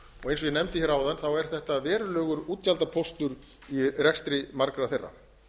og eins og ég nefndi áðan er þetta verulegur útgjaldapóstur í rekstri margra þeirra